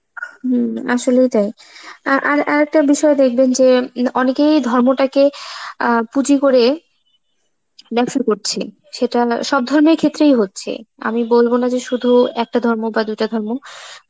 হম আসলেই তাই, আ আর~ আরেকটা বিষয় দেখবেন যে উম অনেকেই ধর্ম তাকে আঁ পুঁজি করে ব্যবসা করছে, সেটা হল~ সব ধর্মের ক্ষেত্রেই হচ্ছে. আমি বলবো না যে শুধু একটা ধর্ম বা দুটা ধর্ম,